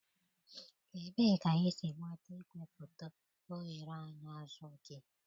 Ebee ka ị si nweta igwefoto oghere anya azụ gị?